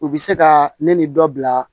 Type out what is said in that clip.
U bɛ se ka ne ni dɔ bila